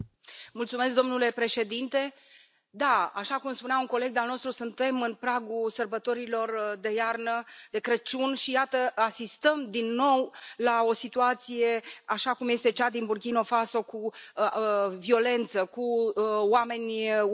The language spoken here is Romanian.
Domnule președinte, da, așa cum spunea un coleg de al nostru, suntem în pragul sărbătorilor de iarnă, de Crăciun, și iată, asistăm, din nou, la o situație așa cum este cea din Burkina Faso, cu violență, cu oameni uciși.